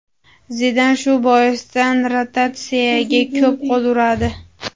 Zidan shu boisdan rotatsiyaga ko‘p qo‘l uradi.